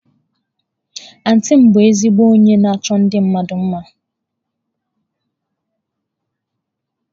Antị m bu ezigbo onye na-achọ ndi mmadu mma.